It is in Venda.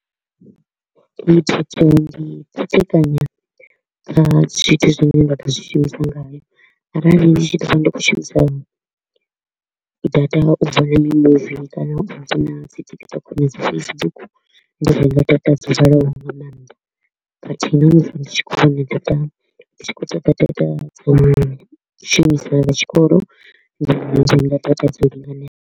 Ndi i khethekanya kha zwithu zwine nda ḓo zwi shumisa ngayo, arali ndi tshi ḓo vha ndi kho u shumisa data u vhona mimuvi kana TikTok na dzi Facebook, ndi ṱoḓa data dzo ḓalaho nga maanḓa khathihi na musi ndi tshikoloni data ndi tshi kho u ṱoḓa data dza u shumisa zwa tshikolo ndi renga data dzo linganelaho.